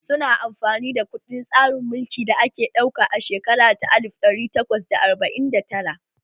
Su na amfani da kuɗin tsarin mulki da aka ɗauka a shekara ta alif ɗari takwas da arba'in da tara